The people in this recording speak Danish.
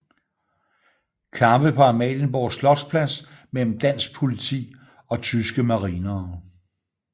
Kampe på Amalienborg Slotsplads mellem dansk politi og tyske marinere